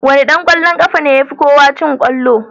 Wane dan kwallon kafa ne yafi kowa cin kwallo?